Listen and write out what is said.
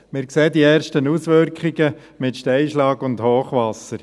Wir sehen die ersten Auswirkungen mit Steinschlag und Hochwasser.